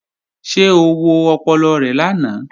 Ṣé o wo ọpọlọ rẹ lánàá?